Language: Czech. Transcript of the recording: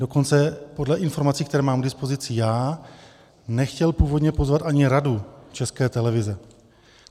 Dokonce podle informací, které mám k dispozici já, nechtěl původně pozvat ani Radu České televize.